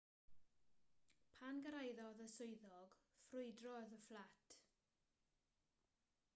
pan gyrhaeddodd y swyddog ffrwydrodd y fflat